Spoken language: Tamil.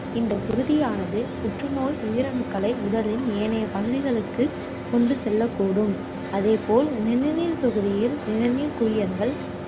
இந்தக் குருதியானது புற்று நோய் உயிரணுக்களை உடலின் ஏனைய பகுதிகளுக்குக் கொண்டு செல்லக் கூடும். அதேபோல், நிணநீர்த் தொகுதியில், நிணநீர்க் குழியங்கள்